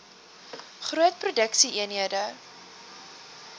groot produksie eenhede